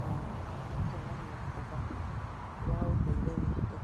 na ĩkonania ũthaka wa ũndũire witũ.